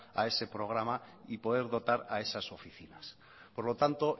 a ese programa y poder dotar a esas oficinas por lo tanto